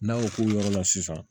N'a y'o k'o yɔrɔ la sisan